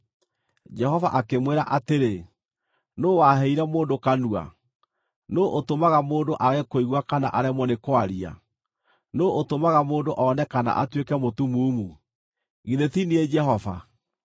Jehova akĩmwĩra atĩrĩ, “Nũũ waheire mũndũ kanua? Nũũ ũtũmaga mũndũ aage kũigua kana aremwo nĩ kwaria? Nũũ ũtũmaga mũndũ one kana atuĩke mũtumumu? Githĩ ti niĩ, Jehova?